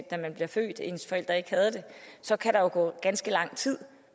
da man blev født så kan der gå ganske lang tid